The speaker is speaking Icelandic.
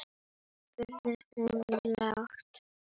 spurði hún lágt.